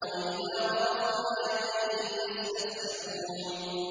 وَإِذَا رَأَوْا آيَةً يَسْتَسْخِرُونَ